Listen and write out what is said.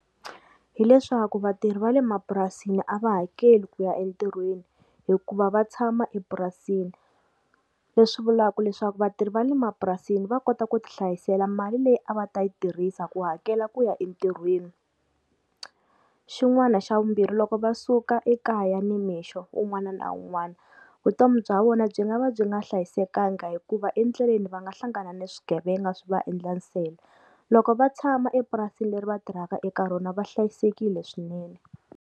Hi leswaku vatirhi va le mapurasini a va hakeli ku ya entirhweni, hikuva va tshama epurasini, leswi vulaku leswaku vatirhi va le mapurasini va kota ku ti hlayisela mali leyi a va ta yi tirhisa ku hakela ku ya entirhweni. Xin'wana xa vumbirhi loko va suka ekaya nimixo wun'wana na wun'wana vutomi bya vona byi nga va byi nga hlayisekanga hikuva endleleni va nga hlangana na swigevenga swi va endla nsele, loko va tshama epurasini leri va tirhaka eka rona va hlayisekile swinene.